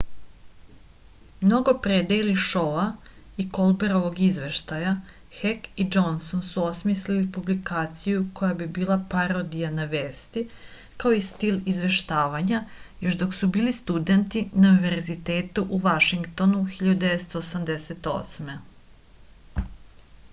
mnogo pre dejli šou-a i kolberovog izveštaja hek i džonson su osmisli publikaciju koja bi bila parodija na vesti kao i stil izveštavanja još dok su bili studenti na univerzitetu u vašingtonu 1988